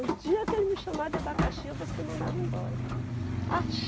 O dia que ele me chamar de abacaxi, eu vou ser mandada embora. Ah